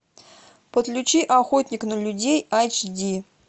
подключи охотник на людей эйч ди